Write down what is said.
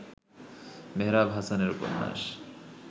মেহরাব হাসানের উপন্যাস